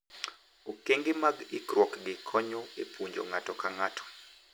Okenge mag ikruok gi konyo e puonjo ng’ato ka ng’ato